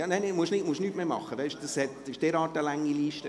– Es ist so eine lange Liste.